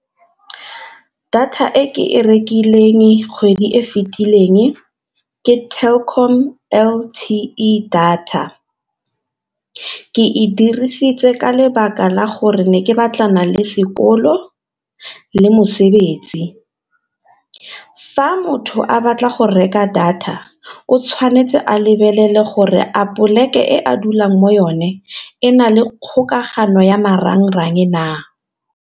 Data e ke e rekileng kgwedi e fetileng ke Telkom L_T_E data, ke e dirisitse ka lebaka la gore ne ke batlana le sekolo ke le mosebetsi. Fa motho a batla go reka data o tshwanetse a lebelele gore a poleke e a dulang mo yone e na le kgokagano ya marangrang na.